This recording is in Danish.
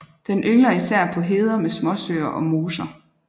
Den yngler især på heder med småsøer og moser